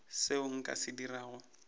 seo nka se dirago go